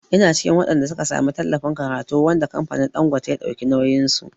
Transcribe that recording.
Ina cikin waɗanda suka samu tallafin karatu wanda kamfanin Ɗangote ya dauki nauyin su.